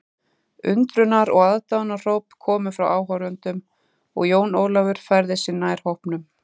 Undrunar og aðdáunarhróp komu frá áhorfendunum og Jón Ólafur færði sig nær hópnum.